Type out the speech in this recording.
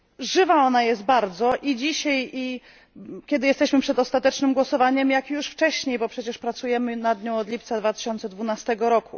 Żywa ona jest bardzo i dzisiaj, kiedy jesteśmy przed ostatecznym głosowaniem, jak już wcześniej, bo przecież pracujemy nad nią od lipca 2012 r.